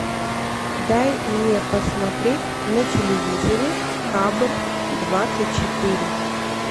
дай мне посмотреть на телевизоре хабар двадцать четыре